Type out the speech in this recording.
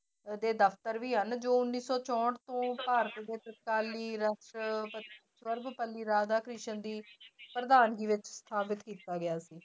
ਦੇ ਦਫ਼ਤਰ ਵੀ ਹਨ ਜੋ ਉੱਨੀ ਸੌ ਚੋਂਹਠ ਤੋਂ ਰਾਧਾਕ੍ਰਿਸ਼ਨ ਦੀ ਪ੍ਰਧਾਨਗੀ ਵਿੱਚ ਸਥਾਪਿਤ ਕੀਤਾ ਗਿਆ ਸੀ।